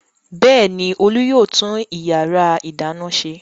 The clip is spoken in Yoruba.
Bẹ́ẹ̀ ni, Olú yóò tún ìyàrá-ìdáná ṣe.